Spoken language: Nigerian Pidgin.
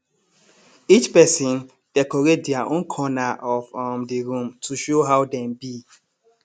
each person decorate dia own corner of um the room to show how dem be